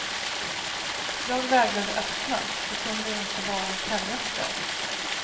Jag vägrade öppna, de kunde inte vara hotellgäster.